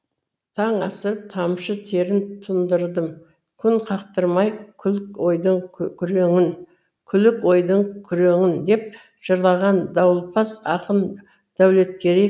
таң асырып тамшы терін тұндырдым күн қақтырмай күлік ойдың күреңін деп жырлаған дауылпаз ақын дәулеткерей